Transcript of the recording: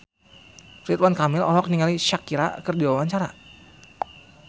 Ridwan Kamil olohok ningali Shakira keur diwawancara